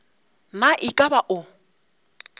na e ka ba o